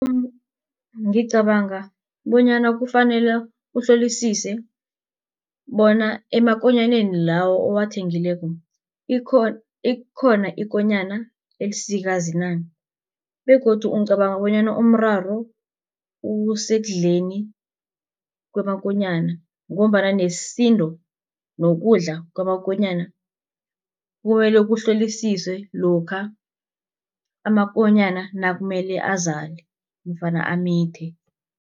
Ngicabanga bonyana kufanele uhlolisise bona emakonyaneni lawo owathengileko ikhona ikonyana elisikazi na. Begodu ngicabanga bonyana umraro usekudleni kwamakonyana ngombana nesindo nokudla kwamakonyana kumele kuhlolisiswe lokha amakonyana nakumele azale nofana amithe.